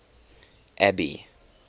abby